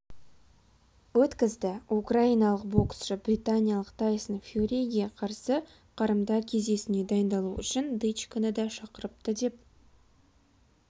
өткізді украиналық боксшы британиялық тайсон фьюриге қарсы қарымта кездесуіне дайындалу үшін дычконы да шақырыпты деп